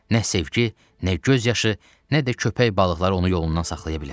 Nə sevgi, nə göz yaşı, nə də köpək balıqları onu yolundan saxlaya bilər.